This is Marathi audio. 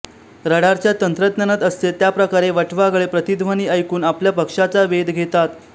रडारच्या तंत्रज्ञानात असते त्याप्रकारे वटवाघळे प्रतिध्वनी ऐकून आपल्या भक्ष्याचा वेध घेतात